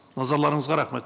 назарларыңызға рахмет